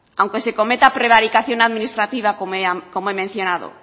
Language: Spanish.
aunque se cometa prevaricación administrativa como he mencionado